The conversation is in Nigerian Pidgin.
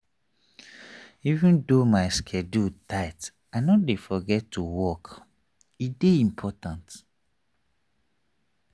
even though my schedule tight i no dey forget to walk e dey important.